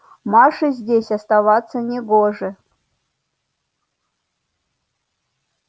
маше здесь оставаться не гоже